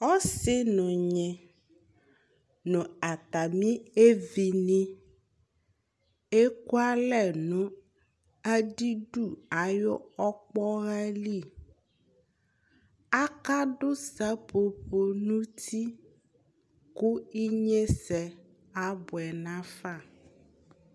ɔsi n'ɔnyi no atami evi ni eku alɛ no adidu ayi ɔkpɔha li aka do sɛƒoƒo n'uti kò inyese aboɛ nafa